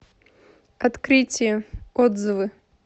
открытие отзывы